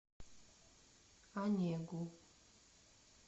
онегу